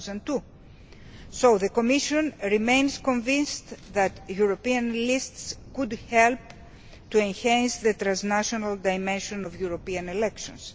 2002. So the Commission remains convinced that European lists could help to enhance the transnational dimension of European elections.